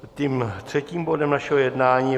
Tím třetím bodem našeho jednání je